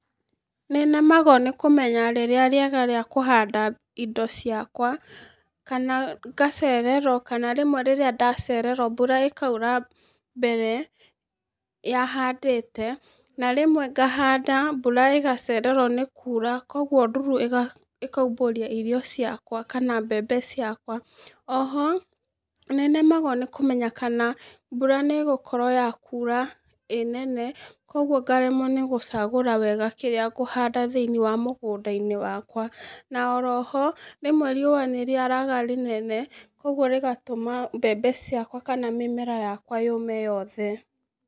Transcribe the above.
Nĩnemagwo nĩkũmenya rĩrĩa rĩega rĩa kũhanda indo ciakwa, kana ngacererwo, kana rĩmwe rĩrĩa ndacererwo mbura ĩkaura mbere ya handĩte, na rĩmwe ngahanda mbura ĩgacererwo nĩ kura, koguo nduru ĩkaumbũria irio ciakwa kana mbembe ciakwa, oho, nĩnemagwo nĩkũmenya kana mbura nĩgũkorwo yakura ĩ nene, koguo ngaremwo nĩ gũcagũra wega kĩrĩa ngũhanda thĩ-inĩ wa mũgũnda-inĩ wakwa, na oroho, rĩmwe riũa nĩrĩaraga rĩnene, ũguo rĩgatũma mbembe ciakwa kana mĩmera yakwa yũme yothe.